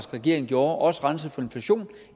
regering gjorde også renset for inflation